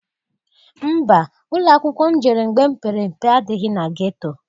Mba! Ụlọakwụkwọ m jere mgbe m pere mpe adịghị na geto.